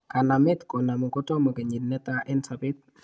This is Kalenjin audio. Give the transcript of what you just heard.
Kanamet konamu kotomo kenyit netaa en sobet